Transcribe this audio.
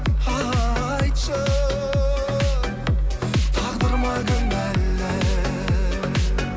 айтшы тағдыр ма кінәлі